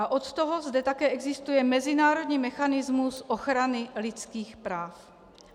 A od toho zde také existuje mezinárodní mechanismus ochrany lidských práv.